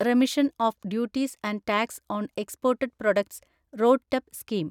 remission of duties and tax on exported products (റോഡ്ടെപ്പ്) scheme